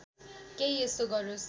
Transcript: केही यस्तो गरोस्